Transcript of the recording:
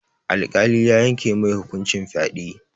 Alƙali ya yanke mai hukuncin fyaɗe.